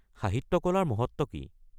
সাহিত্য কলাৰ মহত্ত্ব কি?